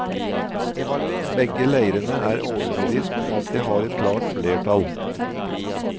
Begge leirene er overbevist om at de har et klart flertall.